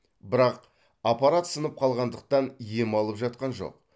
бірақ аппарат сынып қалғандықтан ем алып жатқан жоқ